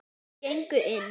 Þau gengu inn.